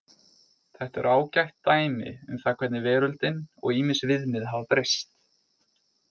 Þetta eru ágætt dæmi um það hvernig veröldin og ýmis viðmið hafa breyst.